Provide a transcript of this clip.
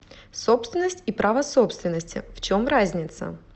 собственность и право собственности в чем разница